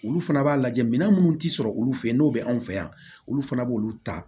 Olu fana b'a lajɛ mina minnu ti sɔrɔ olu fɛ yen n'o bɛ anw fɛ yan olu fana b'olu ta